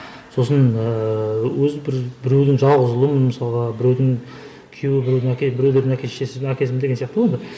сосын ыыы өзім бір біреудің жалғыз ұлымын мысалға біреудің күйеуі біреудің әке біреулердің әке шешесі әкесімін деген сияқты ғой енді